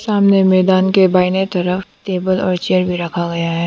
सामने मैदान के बाईंने तरफ टेबल और चेयर भी रखा गया है।